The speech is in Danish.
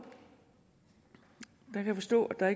jeg kan forstå at